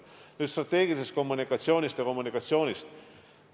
Nüüd strateegilisest kommunikatsioonist ja kommunikatsioonist.